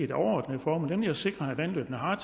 det overordnede formål nemlig at sikre at vandløbene har